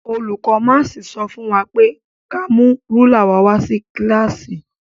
Olùkó máàsì sọ fún wa pé ka mú rúlà wa wá sí kílàsì.